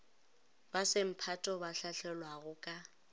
ba semphato ba hlahlelwago ka